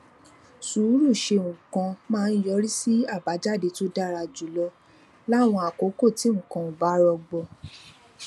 sùúrù ṣe nǹkan máa ń yọrí sí àbájáde tó dára jù lọ láwọn àkókò tí nǹkan ò bá rọgbọ